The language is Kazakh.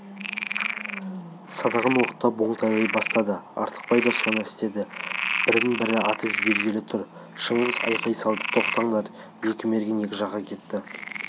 садағын оқтап оңтайлай бастады артықбай да соны істеді бірін бірі атып жібергелі тұр шыңғыс айғай салды тоқтаңдар екі мерген екі жаққа кетті